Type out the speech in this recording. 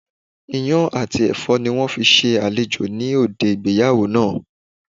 Iyán àti èfó ni wón fi se àlejò ní òde ìgbéyàwó naa